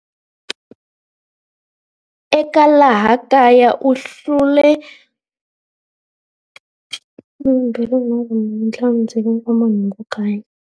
Eka laha kaya u hlule.